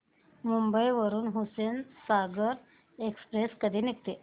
मुंबई वरून हुसेनसागर एक्सप्रेस कधी निघते